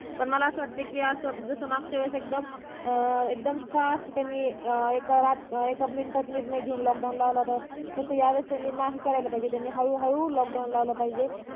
पण मला वटतं कि असं जसं मागच्या वेळी एकदम अं एकदम सहा hospital नि अं निर्णय घेऊन एका रात्रीत एका मिनटात निर्णय घेऊन lock down लावला होता तसं या वेळी नाही केलं पाहिजे हळू हळू lock down लावलं पाहिजे